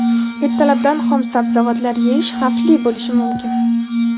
ertalabdan xom sabzavotlar yeyish xavfli bo‘lishi mumkin.